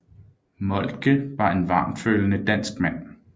Moltke var en varmtfølende dansk mand